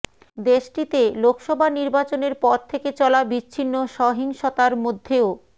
দেশটিতে লোকসভা নির্বাচনের পর থেকে চলা বিচ্ছিন্ন সহিংসতার মধ্যেও